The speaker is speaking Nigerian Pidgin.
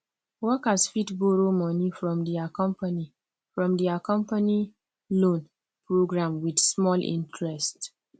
workers fit borrow money from their company from their company loan program with small interest